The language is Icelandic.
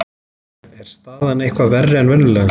Jæja, er staðan eitthvað verri en venjulega?